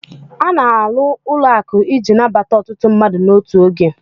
A na alụ ụlọ akụ iji nabata ọtụtụ mmadụ n'otu oge